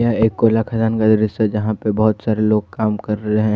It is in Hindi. ये एक कोयला खदान का दृश्य है जहां पे बहोत सारे लोग काम कर रहे हैं।